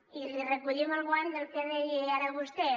i li recollim el guant del que deia ara vostè